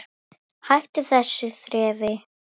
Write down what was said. Hættu þessu þrefi!